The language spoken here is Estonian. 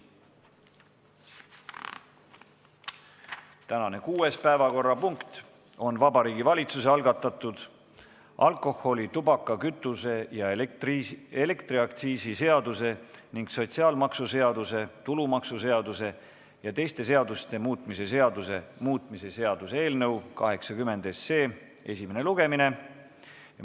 Tänane kuues päevakorrapunkt on Vabariigi Valitsuse algatatud alkoholi-, tubaka-, kütuse- ja elektriaktsiisi seaduse ning sotsiaalmaksuseaduse, tulumaksuseaduse ja teiste seaduste muutmise seaduse muutmise seaduse eelnõu 80 esimene lugemine.